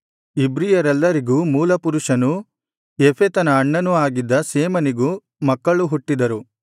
ಇಬ್ರಿಯರೆಲ್ಲರಿಗೆ ಮೂಲಪುರುಷನನೂ ಯೆಫೆತನ ಅಣ್ಣನೂ ಆಗಿದ್ದ ಶೇಮನಿಗೂ ಮಕ್ಕಳು ಹುಟ್ಟಿದರು